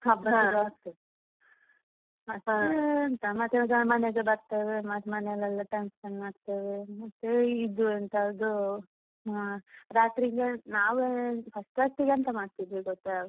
ಮತ್ತೆ ಎಂತ ಮತ್ತೆ ಮನೆಗೆ ಬರ್ತೇವೆ ಮತ್ ಮನೇಲೆಲ್ಲ function ಮಾಡ್ತೇವೆ ಮತ್ತೆ ಇದು ಎಂತ ಅದು ರಾತ್ರಿಗೆ ನಾವ್ first first ಗೆ ಎಂತ ಮಾಡ್ತಿದ್ವಿ ಗೊತ್ತಾ.